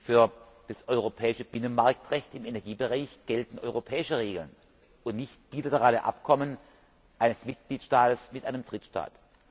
Für das europäische Binnenmarktrecht im Energiebereich gelten europäische Regeln und nicht bilaterale Abkommen eines Mitgliedstaates mit einem Drittstaat.